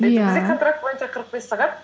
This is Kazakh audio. контракт бойынша қырық бес сағат